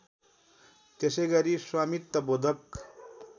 त्यसैगरी स्वामित्व बोधक